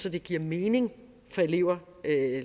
at det giver mening for elever